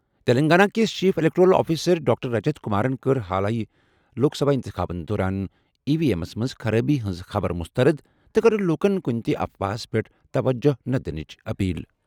تیٚلنٛگانہ کِس chief electoral officer doctor Rajat کمارَن کٔر حالٕے لوک سبھا اِنتِخابس دوران ای وی ایمَس منٛز خرٲبی ہٕنٛزِ خبرٕ مسترد تہٕ کٔرٕن لوٗکَن کُنہِ تہِ افواہَس پٮ۪ٹھ توجہ نہٕ دِنٕچ اپیل ۔